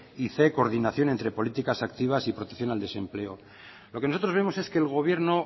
y c coordinación entre políticas activas y protección al desempleo lo que nosotros vemos es que el gobierno